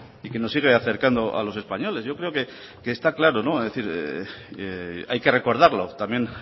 y que nos sigue acercando a los españoles yo creo que está claro no es decir hay que recordarlo también